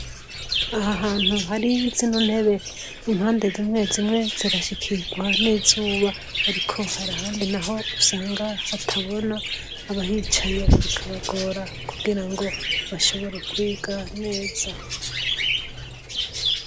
Aha hantu hari zino ntebe impande zimwe zimwe zirashikirwa n'izuba ariko harahandi naho usanga hatabona abahicaye bikabagora kugirango bashobore kwiga neza